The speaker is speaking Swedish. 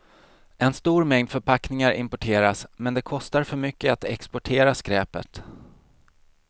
En stor mängd förpackningar importeras, men det kostar för mycket att exportera skräpet.